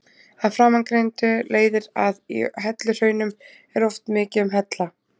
Af framangreindu leiðir að í helluhraunum er oft mikið um hella.